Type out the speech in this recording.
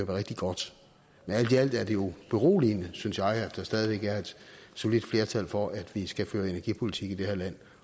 være rigtig godt men alt i alt er det jo beroligende synes jeg at der stadig væk er et solidt flertal for at vi skal føre energipolitik i det her land